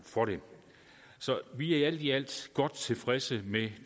for det så vi er alt i alt godt tilfredse med